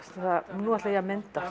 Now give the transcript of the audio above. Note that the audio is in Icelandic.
nú ætla ég að mynda